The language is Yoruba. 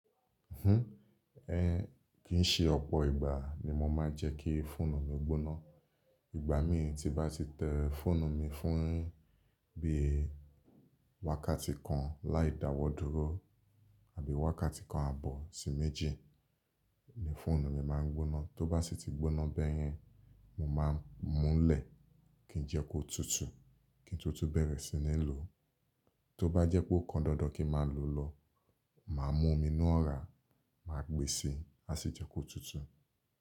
Hnh, eh, kì ń ṣe ọ̀pọ̀ ìgbà ni mo máa ń jẹ́ kí fóònù mi gbóná. Ìgbà mí tí bá ti tẹ fóònù mi fún ún bí i wákàtí kan láì dawọ́ dúró àbí wákàtí kan àbọ̀ sí méjì ni fóònù mi máa ń gbóná. Tó bá sì ti gbóná bẹ́yẹn, mo máa ń mú lè kí n jẹ́ kó tutù, kí n to tun bẹ̀rẹ̀ sí ní lò. Tó bá jẹ́ pé ó kan dandan kí máa lò lọ, màá mú omi inu ọ̀rá, màá gbèsì, á sì jẹ́ kó tutù.